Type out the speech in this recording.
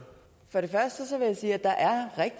tage